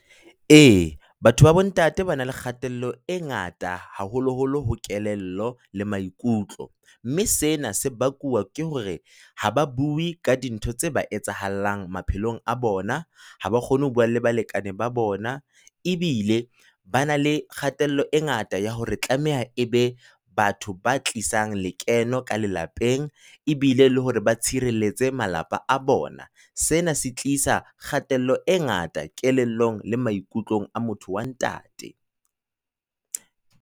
Ee, batho ba bontate ba na le kgatello e ngata, haholo holo ho kelello le maikutlo. Mme sena se bakuwa ke hore ha ba bue ka dintho tse ba etsahallang maphelong a bona, ha ba kgone ho bua le balekane ba bona, ebile ba na le kgatello e ngata ya hore tlameha e be batho ba tlisang lekeno ka lelapeng. Ebile le hore ba tshireletse malapa a bona, sena se tlisa kgatello e ngata kelellong le maikutlong a motho wa ntate.